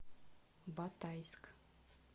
батайск